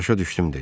Başa düşdüm dedi.